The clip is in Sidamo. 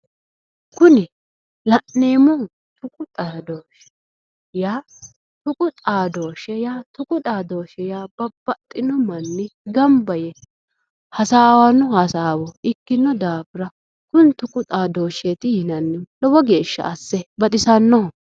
Kuni la'neemmohu tuqu xaadooti yaa tuqu xaadooshshe yaa babbaxxino manni gamba yee hasaawanno hasaawo ikkino daafira kuni tuqu xaadooshsheeti yinannihu lowo geeshsha asse baxisannoho